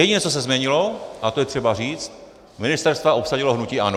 Jediné, co se změnilo, a to je třeba říct - ministerstva obsadilo hnutí ANO.